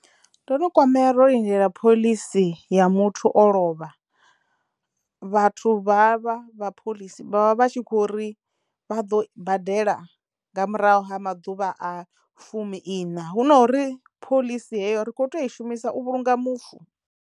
Ndo no kwamea ro lindela phoḽisi ya muthu o lovha vhathu ha vha vha phoḽisi vha vha tshi kho ri vha ḓo badela nga murahu ha maḓuvha a fumi iṋa hu nori phoḽisi heyo ri kho tea u i shumisa u vhulunga mufu.